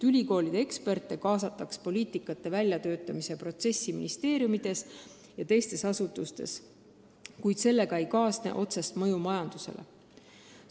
Ülikoolide eksperte võiks kaasata poliitikate väljatöötamisse ministeeriumides ja teistes asutustes, kuid sellega ei kaasne ju otsest mõju majandusele.